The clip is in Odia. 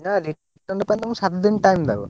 ନାଁ return ପାଇଁ ତମକୁ ସାତ୍ ଦିନ୍ ଟାଇମ୍ ଦବ।